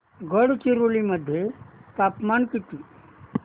गडचिरोली मध्ये तापमान किती